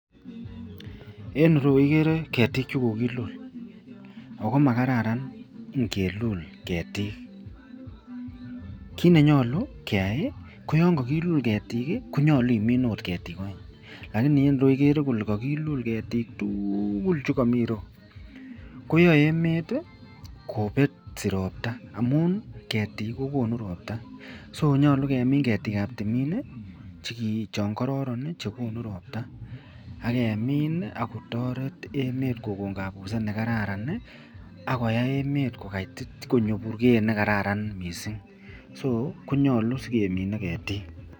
En ireyu ikeree ketik chekokilul ak ko makararan ing'ilul ketik kiit nenyolu keyai ko yoon ko kilul ketik konyolu min oot ketik oeng lakini en ireyu ikere ilee ko kilul ketik tukul chekomii ireyu koyoe emet kobetsi robtaa amun kketik kokonu robta so konyolu kemin ketkab timin choon kororon chekonu robta ak kemin ak kotoret emet kokon kabuset nekararan ak koyai emet konyo burkeyet nekararan mising sokonyolu sikemine ketik.